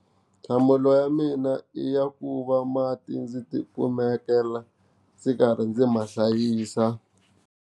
Nhlamulo ya mina i ya ku va mati ndzi ti kumekela ndzi karhi ndzi ma hlayisa.